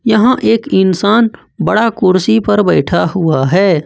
यहां एक इंसान बड़ा कुर्सी पर बैठा हुआ है।